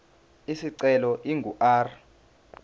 isicelo ingu r